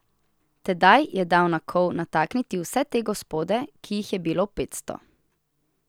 Tedaj je dal na kol natakniti vse te gospode, ki jih je bilo petsto.